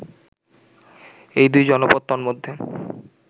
এই দুই জনপদ তন্মধ্যে